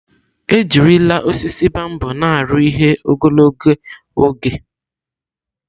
Ejirila osisi bambọ na aru ihe ogologo oge.